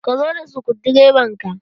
Ka zo da sukudireban ka!